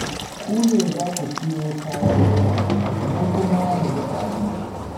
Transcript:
Ku ne za ku siyo kayan ruwa, mu kuma mu dafa abinci.